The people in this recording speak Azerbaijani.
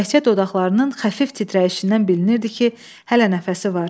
Təkcə dodaqlarının xəfif titrəyişindən bilinirdi ki, hələ nəfəsi var.